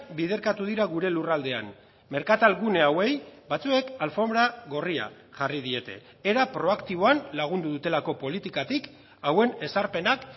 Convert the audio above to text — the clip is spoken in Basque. biderkatu dira gure lurraldean merkatal gune hauei batzuek alfonbra gorria jarri diete era proaktiboan lagundu dutelako politikatik hauen ezarpenak